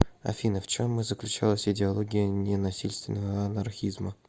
афина в чем заключалась идеология ненасильственного анархизма